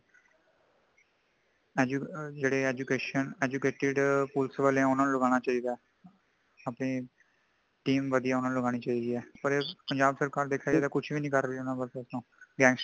edu ਆ ਜੇੜੇ education ,educated police ਵਾਲੇ ਉਨ੍ਹਾਂਨੂੰ ਲਗਾਣਾ ਚਾਹਿਦਾ ਅਪਣੀ team ਵਧਿਆ ਉਨ੍ਹਾਂਨੂੰ ਲੱਗਣੀ ਚਾਹੀਦੀ ਹੈ |ਪਾਰ ਪੰਜਾਬ ਸਰਕਾਰ ਕੁਝ ਵੇ ਨਹੀਂ ਕਰ ਰਹੀ ਹੈ ਊਨਾ ਪੱਖੋਂ gangstar